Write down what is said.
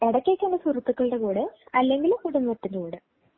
ഇടയ്ക്ക് ഒക്കെ എന്റെ സുഹൃത്തുക്കളുടെ കൂടെ അല്ലെങ്കിൽ കുടുംബത്തിന്റെ കൂടെ.